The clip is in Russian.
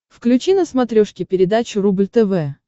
включи на смотрешке передачу рубль тв